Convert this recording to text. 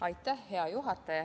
Aitäh, hea juhataja!